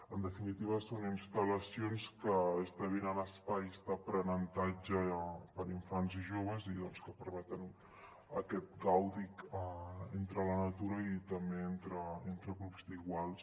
en definitiva són instal·lacions que esdevenen espais d’aprenentatge per a infants i joves i doncs que permeten aquest gaudi entre la natura i també entre grups d’iguals